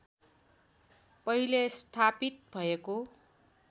पहिले स्थापित भएको